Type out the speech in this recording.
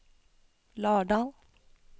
Lardal